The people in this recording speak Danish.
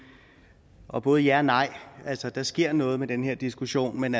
og både ja og nej altså der sker noget med den her diskussion men